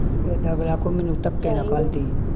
ਇੱਦਾਂ ਬਲਾ ਕੁ ਮੈਨੂੰ ਧੱਕੇ ਨਾਲ ਘਲ ਦੀ